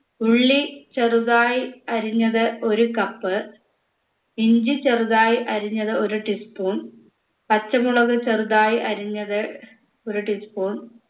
ഉള്ളി ചെറുതായി അരിഞ്ഞത് ഒരു cup ഇഞ്ചി ചെറുതായി അരിഞ്ഞത് ഒരു teaspoon പാച്ചമുളക് ചെറുതായി അരിഞ്ഞത് ഒരു tea spoon